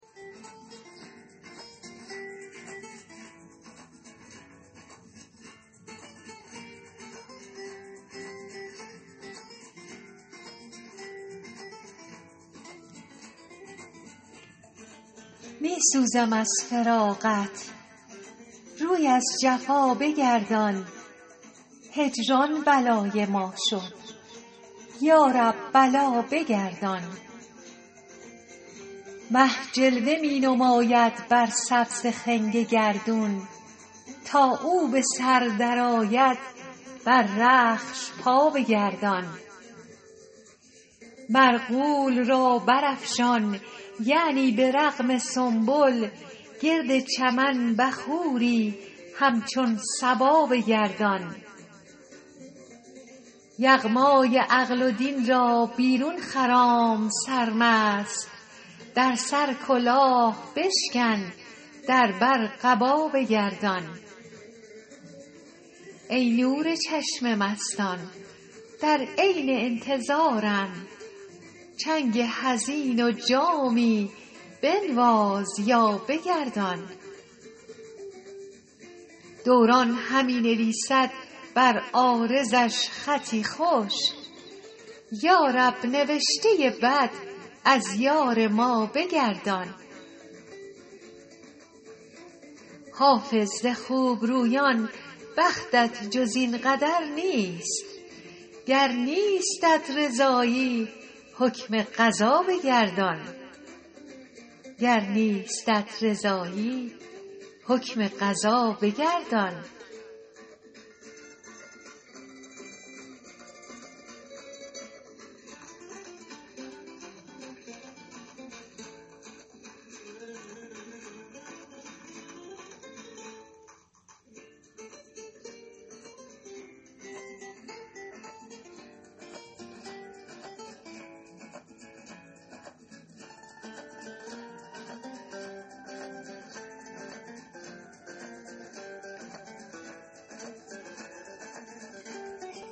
می سوزم از فراقت روی از جفا بگردان هجران بلای ما شد یا رب بلا بگردان مه جلوه می نماید بر سبز خنگ گردون تا او به سر درآید بر رخش پا بگردان مرغول را برافشان یعنی به رغم سنبل گرد چمن بخوری همچون صبا بگردان یغمای عقل و دین را بیرون خرام سرمست در سر کلاه بشکن در بر قبا بگردان ای نور چشم مستان در عین انتظارم چنگ حزین و جامی بنواز یا بگردان دوران همی نویسد بر عارضش خطی خوش یا رب نوشته بد از یار ما بگردان حافظ ز خوبرویان بختت جز این قدر نیست گر نیستت رضایی حکم قضا بگردان